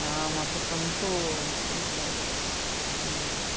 Ela é uma pessoa muito... não sei.